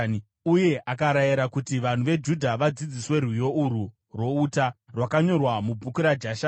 uye akarayira kuti vanhu veJudha vadzidziswe rwiyo urwu rwokuchema rwouta (rwakanyorwa mubhuku raJashari):